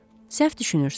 Səhv düşünürsüz.